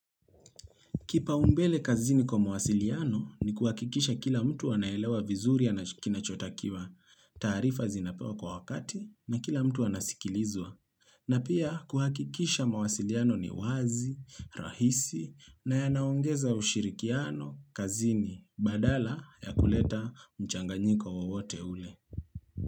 Kipau mbele kazini kwa mawasiliano, ni kuhakikisha kila mtu anaelewa vizuri, anach kinachotakiwa, taarifa zinapewa kwa wakati na kila mtu anasikilizwa. Na pia kuhakikisha mawasiliano ni wazi, rahisi na yanaongeza ushirikiano, kazini, badala ya kuleta mchanganyiko wowote ule.